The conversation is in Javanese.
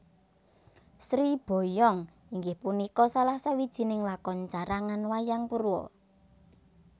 Sri Boyong inggih punika salah sawijining lakon carangan Wayang Purwa